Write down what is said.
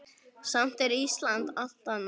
Samt er Ísland alltaf nærri.